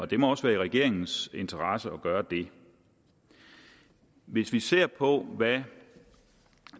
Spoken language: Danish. det må også være i regeringens interesse at gøre det hvis vi ser på hvad